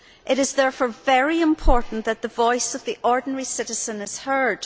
It is therefore very important that the voice of the ordinary citizen is heard.